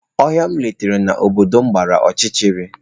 Ohia m letara na obodo m gbara ọchịchịrị.